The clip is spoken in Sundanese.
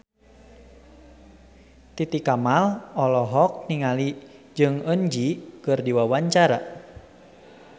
Titi Kamal olohok ningali Jong Eun Ji keur diwawancara